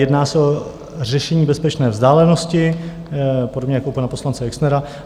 Jedná se o řešení bezpečné vzdálenosti, podobně jako u pana poslance Exnera.